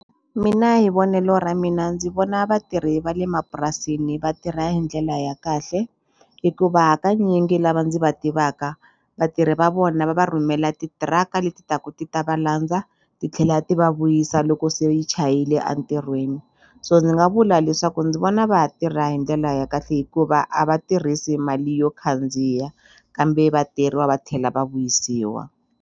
Mina hi vonelo ra mina ndzi vona vatirhi va le mapurasini vatirha hi ndlela ya kahle hikuva hakanyingi lava ndzi va tivaka vatirhi va vona va va rhumela titiraka leti taku ti ta va landza titlhela ti va vuyisa loko se yi chayile a ntirhweni so ndzi nga vula leswaku ndzi vona va ha tirha hi ndlela ya kahle hikuva a va tirhisi mali yo khandziya kambe vatirhi va va tlhela va vuyisiwa.